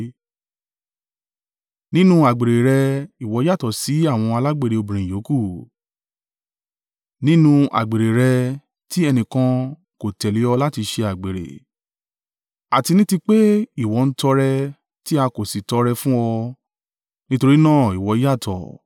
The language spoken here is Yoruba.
Nínú àgbèrè rẹ ìwọ yàtọ̀ sí àwọn alágbèrè obìnrin yòókù; nínú àgbèrè rẹ tí ẹnìkan kò tẹ̀lé ọ láti ṣe àgbèrè; àti ní ti pé ìwọ ń tọrẹ tí a kò sì tọrẹ fún ọ, nítorí náà ìwọ yàtọ̀.